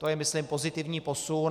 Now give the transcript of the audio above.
To je, myslím, pozitivní posun.